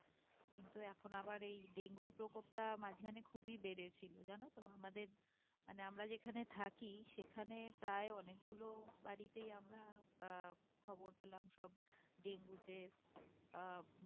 কিন্তু এখন আবার এই ডেঙ্গু র প্রকোপটা মাঝখানে খুবই বেড়েছিল জানো তো আমাদের মানে আমরা যেখানে থাকি সেখানে প্রায় অনেকগুলো বাড়িতেই আমরা আহ খবর পেলাম সব ডেঙ্গু তে আহ